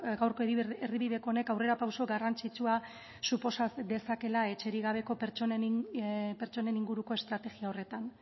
gaurko erdibideko honek aurrera pauso garrantzitsua suposa dezakeela etxerik gabeko pertsonen inguruko estrategia horretan